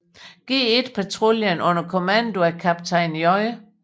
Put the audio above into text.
G1 patruljen under kommando af kaptajn J